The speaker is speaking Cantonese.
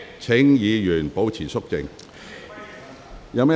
請議員保持肅靜。